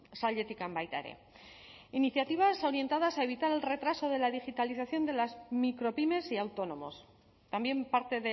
sailetik baita ere iniciativas orientadas a evitar el retraso de la digitalización de las micropymes y autónomos también parte